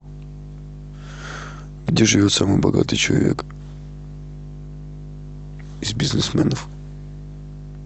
где живет самый богатый человек из бизнесменов